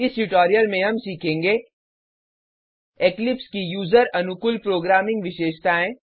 इस ट्यूटोरियल में हम सीखेंगे इक्लिप्स की यूजर अनुकूल प्रोग्रामिंग विशेषताएँ